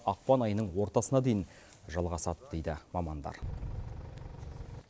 ақпан айының ортасына дейін жалғасады дейді мамандар